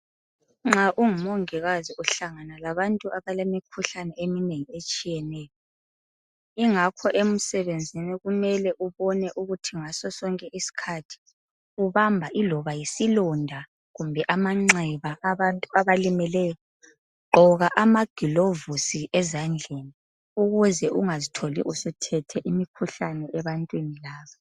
Nxa ungumongikazi uhlangana labantu abalemkhuhlane eminengi etshiyeneyo kungakho emsebenzini kumele ubone ukuthi ngasosonke isikhathi ubamba iloba isilonda kumbe amanxeba abantu abalimeleyo gqoka amagilovisi ezandleni ukuze ungazi tholi usuthethe imikhuhlane ebantwini laba.